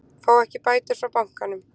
Fá ekki bætur frá bankanum